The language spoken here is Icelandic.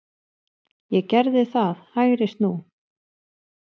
Ég gerði það, hægri snú.